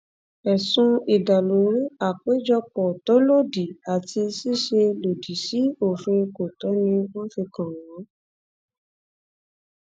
ẹsùn ìdàlúrú àpéjọpọ tó lòdì àti ṣíṣe lòdì sí òfin kọńtò ni wọn fi kàn wọn